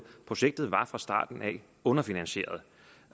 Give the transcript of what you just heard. projektet var fra starten underfinansieret